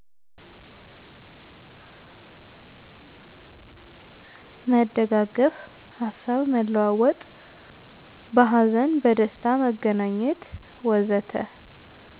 መደጋገፍ፣ ሀሳብ መለዋወጥ፣ በሀዘንና በደስታ መገናኘት ወዘተ።